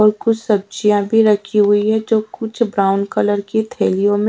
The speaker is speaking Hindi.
और कुछ सब्जिया भी रखी हुई है जो कुछ ब्राउन कलर की थेलियो में--